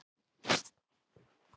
Þetta voru ekki mörg orð.